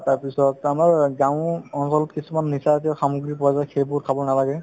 তাৰপিছত আমাৰ গাঁও অঞ্চলত কিছুমান নিচাজাতীয় সামগ্ৰী পোৱা যায় সেইবোৰ খাব নালাগে